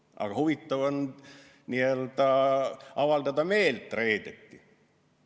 Aga huvitav on reedeti n-ö meelt avaldada.